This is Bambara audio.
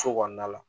So kɔnɔna la